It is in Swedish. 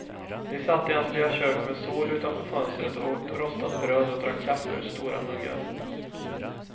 De satt i hans lilla kök med sol utanför fönstret och åt rostat bröd och drack kaffe ur stora muggar.